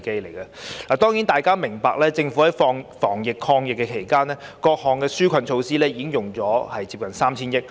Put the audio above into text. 大家都明白，政府在防疫抗疫期間推出各項紓困措施，已動用接近 3,000 億元。